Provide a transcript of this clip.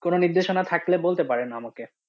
কোনো নির্দেশনা থাকলে বলতে পারেন আমাকে?